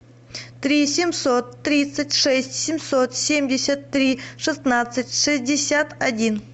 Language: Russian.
три семьсот тридцать шесть семьсот семьдесят три шестнадцать шестьдесят один